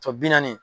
naani